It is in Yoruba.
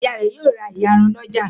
Ìyá rẹ̀ yóò ra ìyarun lọ́jà.